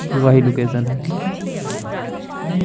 कि वही लोकेशन है।